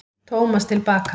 Tómas til baka.